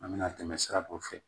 An bɛna tɛmɛ sira dɔ fɛ